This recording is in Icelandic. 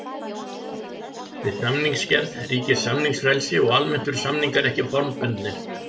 Við samningsgerð ríkir samningsfrelsi og almennt eru samningar ekki formbundnir.